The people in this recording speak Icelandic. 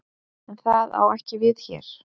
En það á ekki við hér.